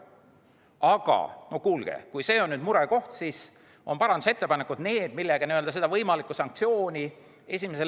Aga no kuulge, kui see on nüüd murekoht, siis on parandusettepanekud need, millega seda esimese lõike võimalikku sanktsiooni leevendada.